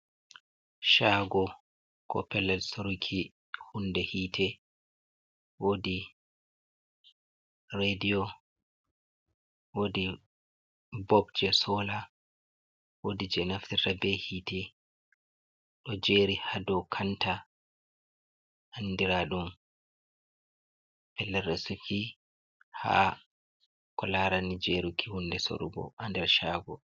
Shaago koo pellel sooruki hunde hiite, woodi Reediyo, woodi Bob je sola, woodi jey naftirta bee hiite, ɗo jeeri haa dow Kanta andiraɗum pellel resuki, haa kolaarani jeeruki huunde sorugo haa nder Shaago.